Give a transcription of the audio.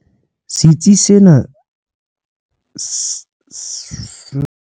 Setsi sena se sa tswa ahwa ke mokgatlo wa ntshetsopele wa Impande South Africa ka tshehetso ya Nelson Mandela Foundation.